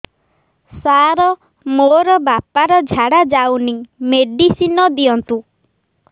ସାର ମୋର ବାପା ର ଝାଡା ଯାଉନି ମେଡିସିନ ଦିଅନ୍ତୁ